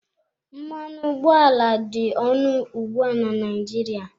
Mmanụ ụgbọala dị ọnụ ugbu a na Naịjirịa.